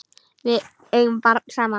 Við eigum barn saman.